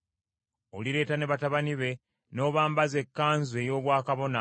Olireeta ne batabani be n’obambaza ekkanzu ey’obwakabona,